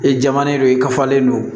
I jamanen don i kafalen don